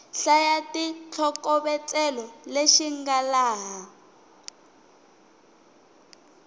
hlaya xitlhokovetselo lexi nga laha